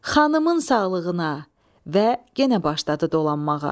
Xanımın sağlığına və genə başladı dolanmağa.